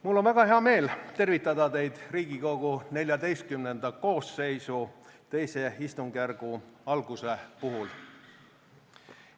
Mul on väga hea meel tervitada teid Riigikogu XIV koosseisu II istungjärgu alguse puhul.